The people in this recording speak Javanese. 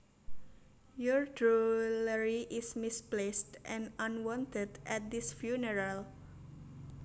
Your drollery is misplaced and unwanted at this funeral